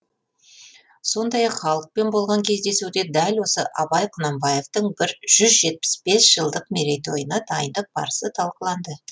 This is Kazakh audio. сондай ақ халықпен болған кездесуде дәл осы абай құнанбаевтың жүз жетпіс бес жылдық мерейтойына дайындық барысы талқыланды